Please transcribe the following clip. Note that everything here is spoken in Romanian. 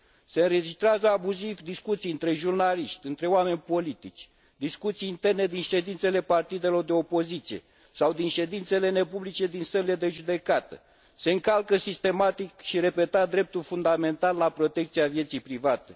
Se înregistrează abuziv discuții între jurnaliști, între oameni politici, discuții interne din ședințele partidelor de opoziție sau din ședințele nepublice din sălile de judecată, se încalcă sistematic și repetat dreptul fundamental la protecția vieții private.